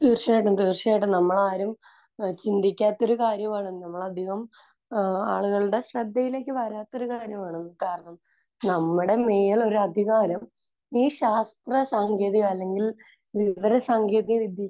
തീർച്ചയായിട്ടും. തീർച്ചയായിട്ടും. നമ്മൾ ആരും ചിന്തിക്കാത്തൊരു കാര്യമാണ്. നമ്മൾ അധികം ആളുകളുടെ ശ്രദ്ധയിലേക്ക് വരാത്തൊരു കാര്യമാണ്. കാരണം നമ്മുടെ മേൽ ഒരു അധികാരം ഈ ശാസ്ത്രസാങ്കേതിക അല്ലെങ്കിൽ വിവരസാങ്കേതികവിദ്യക്ക്